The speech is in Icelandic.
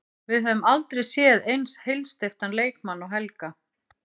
Við höfum aldrei séð eins heilsteyptan leikmann og Helga.